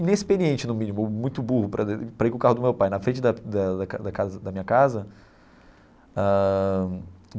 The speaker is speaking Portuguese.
Inexperiente, no mínimo, muito burro para ir com o carro do meu pai na frente da da casa da minha casa ãh.